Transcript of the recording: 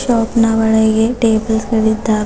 Shop ನ ಒಳ್ಳಗೆ tables ಗಳಿದ್ದಾವೆ.